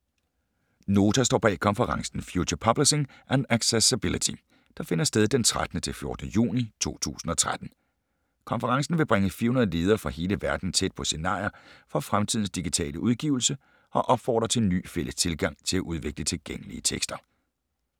Nota står bag konferencen ”Future Publishing and Accessibility”, der finder sted den 13.-14. juni 2013. Konferencen vil bringe 400 ledere fra hele verden tæt på scenarier for fremtidens digitale udgivelse og opfordre til en ny fælles tilgang til at udvikle tilgængelige tekster.